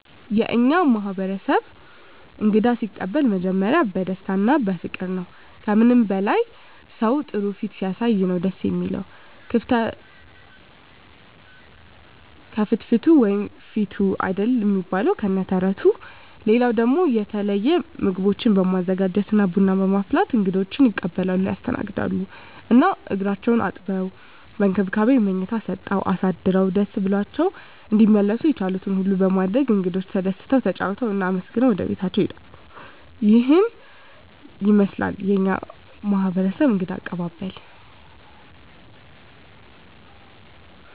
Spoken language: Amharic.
የእኛ ማህበረሰብ እንግዳ ሲቀበሉ መጀመሪያ በደስታ እና በፍቅር ነዉ። ከምንም በላይ ሰዉ ጥሩ ፊት ሲያሳይ ነዉ ደስ እሚለዉ፤ ከፍትፍቱ ፊቱ አይደል እሚባል ከነ ተረቱ። ሌላ ደሞ የተለየ ምግቦችን በማዘጋጀት እና ቡና በማፍላት እንግዶቻቸዉን ይቀበላሉ (ያስተናግዳሉ) ። እና እግራቸዉን አጥበዉ፣ በእንክብካቤ መኝታ ሰጠዉ አሳድረዉ ደስ ብሏቸዉ እንዲመለሱ የቻሉትን ሁሉ በማድረግ እንግዶቻቸዉ ተደስተዉ፣ ተጫዉተዉ እና አመስግነዉ ወደቤታቸዉ ይሄዳሉ። ይሄን ይመስላል የኛ ማህበረሰብ እንግዳ አቀባበል።